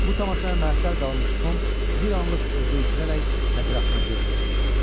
Bu tamaşaya məətəl qalmış Tom bir anlıq özünü itirərək ətrafına göz gəzdirdi.